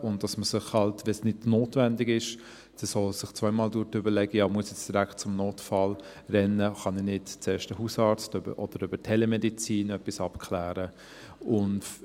Ich überlege mir dann zweimal, ob ich direkt zum Notfall rennen muss, wenn es nicht notwendig ist, oder ob ich halt doch zuerst über den Hausarzt oder über Telemedizin etwas abklären kann.